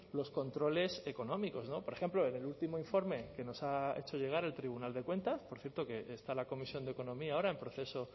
los controles económicos por ejemplo en el último informe que nos ha hecho llegar el tribunal de cuentas por cierto que está la comisión de economía ahora en proceso